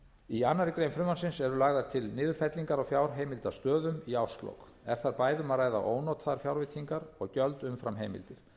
í annarri grein frumvarpsins eru lagðar til niðurfellingar á fjárheimildastöðum í árslok er þar bæði um að ræða ónotaðar fjárveitingar og gjöld umfram heimildir